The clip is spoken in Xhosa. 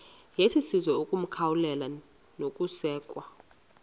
yesizwe ukwamkelwa nokusekwa